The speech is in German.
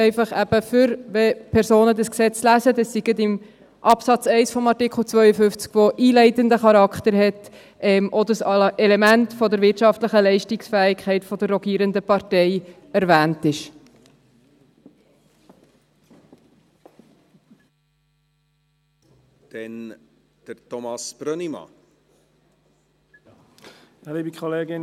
Dies eben einfach, damit, weil damit gleich in Absatz 1 von Artikel 52, der einleitenden Charakter hat, auch dieses Element der wirtschaftlichen Leistungsfähigkeit der rogierenden Partei erwähnt ist, wenn Personen das Gesetz lesen.